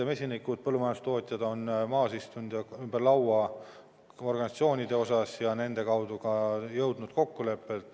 Mesinike ja põllumajandustootjate organisatsioonid on istunud laua ümber ja selle kaudu on jõutud ka kokkuleppele.